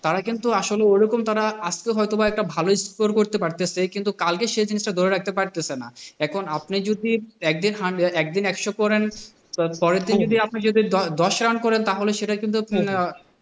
তারা কিন্তু আসলে ঐরকম তারা আস্তো অথবা একটা ভালোই score করতে পারতেন যে কিন্তু কালকে জিনিসটা ধরে রাখতে পারতেছেনা। এখন আপনি যদি একদিন hundred একদিন একশো করেন তার পরের, পরের দিন আপনি যদি দশ রান করেন তাহলে সেটা কিন্তু তাহলে,